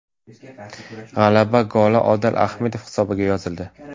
G‘alaba goli Odil Ahmedov hisobiga yozildi.